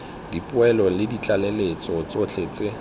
dipoeletso le ditlaleletso tsotlhe tse